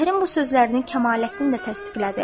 Zəhrin bu sözlərini Kəmaləddin də təsdiqlədi.